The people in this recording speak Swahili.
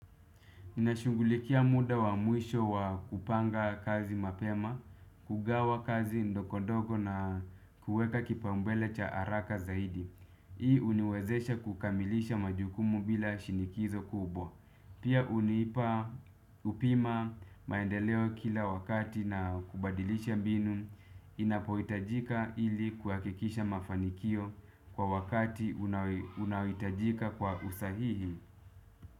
Ninashungulikia muda wa mwisho wa kupanga kazi mapema, kugawa kazi ndogo ndogo na kuweka kipaumbele cha haraka zaidi. Hii uniwezesha kukamilisha majukumu bila shinikizo kubwa. Pia huniipa upima maendeleo kila wakati na kubadilisha mbinu inapohitajika ili kuhakikisha mafanikio kwa wakati unaohitajika kwa usahihi.